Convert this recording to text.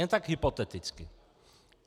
Jen tak hypoteticky.